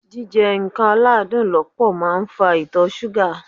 Jíjẹ nǹkan aládùn lọ́pọ̀ máa ń fa Ìtọ̀ súgà.